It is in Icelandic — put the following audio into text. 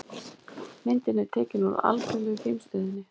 Myndin er tekin úr Alþjóðlegu geimstöðinni.